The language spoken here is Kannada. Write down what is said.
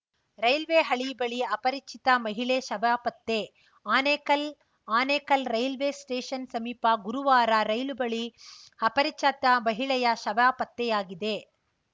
ರೈಲ್ವೆ ಹಳಿ ಬಳಿ ಅಪರಿಚಿತ ಮಹಿಳೆ ಶವ ಪತ್ತೆ ಆನೇಕಲ್‌ ಆನೇಕಲ್ ರೈಲ್ವೆ ಸ್ಟೇಷನ್‌ ಸಮೀಪ ಗುರುವಾರ ರೈಲು ಹಳಿ ಬಳಿ ಅಪರಿಚತ ಮಹಿಳೆಯ ಶವ ಪತ್ತೆಯಾಗಿದೆ